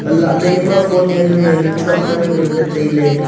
lahle ema fon yanu yanu chuaka lan le ngan le taile.